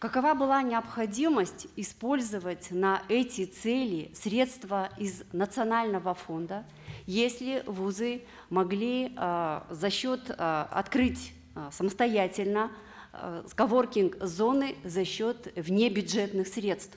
какова была необходимость использовать на эти цели средства из национального фонда если вузы могли э за счет э открыть э самостоятельно э коворкинг зоны за счет внебюджетных средств